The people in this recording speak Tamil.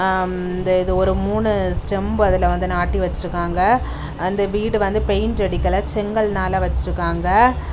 அம் இதெதோறு மூணு ஸ்டெம்பு அதுல வந்து நாட்டி வச்சிருக்காங்க அந்த வீடு வந்து பெயிண்ட் அடிக்கல செங்கல்னால வச்சிருக்காங்க.